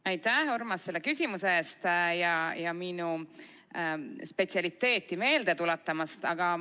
Aitäh, Urmas, selle küsimuse eest ja minu spetsialiteeti meelde tuletamast!